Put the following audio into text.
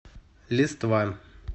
листва